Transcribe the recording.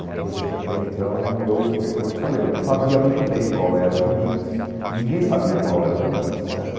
Uma coisa que até então eu, eu eh como eu te falei, não sabia muito bem qual era o limite e ninguém sabia qual era o limite, certo?